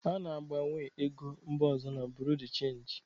A na-agbanwe ego mba ọzọ na Buru de chenja.